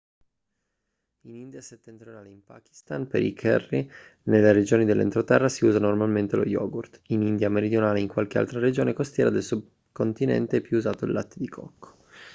in india settentrionale e in pakistan per i curry nelle regioni dell'entroterra si usa normalmente lo yogurt in india meridionale e in qualche altra regione costiera del subcontinente è più usato il latte di cocco